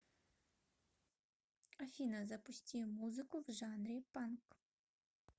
афина запусти музыку в жанре панк